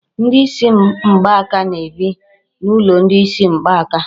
Ndị isi mgbaka na-ebi n'ụlọ ndị isi mgbaka.